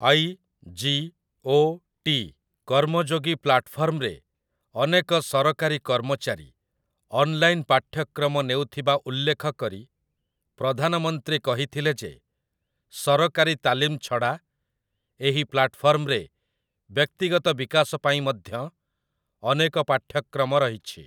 IGOT. Karmayogi ପ୍ଲାଟଫର୍ମରେ ଅନେକ ସରକାରୀ କର୍ମଚାରୀ ଅନ୍‌ଲାଇନ୍ ପାଠ୍ୟକ୍ରମ ନେଉଥିବା ଉଲ୍ଲେଖକରି ପ୍ରଧାନମନ୍ତ୍ରୀ କହିଥିଲେ ଯେ ସରକାରୀ ତାଲିମ୍ ଛଡ଼ା ଏହି ପ୍ଲାଟଫର୍ମରେ ବ୍ୟକ୍ତିଗତ ବିକାଶ ପାଇଁ ମଧ୍ୟ ଅନେକ ପାଠ୍ୟକ୍ରମ ରହିଛି ।